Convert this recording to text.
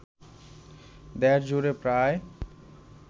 দেশ জুড়ে প্রায়